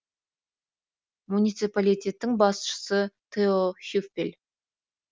муниципалитеттің басшысы тео хюффель